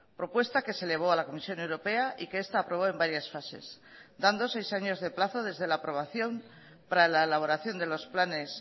propuesta que se elevó a la comisión europea y que esta aprobó en varias fases dando seis años de plazo desde la aprobación para la elaboración de los planes